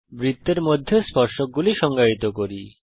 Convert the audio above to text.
বৃত্তের মধ্যে স্পর্শকগুলি সংজ্ঞায়িত করি